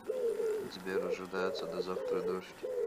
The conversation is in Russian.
сбер ожидается до завтра дождь